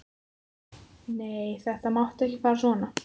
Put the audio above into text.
Nei, þetta mátti ekki fara svona.